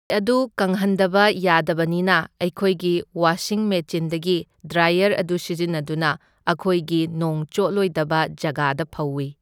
ꯑꯗꯨ ꯀꯪꯍꯟꯗꯕ ꯌꯥꯗꯕꯅꯤꯅ ꯑꯩꯈꯣꯏꯒꯤ ꯋꯥꯁꯤꯡ ꯃꯦꯆꯤꯟꯗꯒꯤ ꯗ꯭ꯔꯥꯏꯌꯔ ꯑꯗꯨ ꯁꯤꯖꯤꯟꯅꯗꯨꯅ ꯑꯈꯣꯏꯒꯤ ꯅꯣꯡ ꯆꯣꯠꯂꯣꯏꯗꯕ ꯖꯒꯥꯗ ꯐꯧꯢ꯫